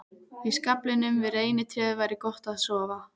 Í skaflinum við reynitréð væri gott að sofa.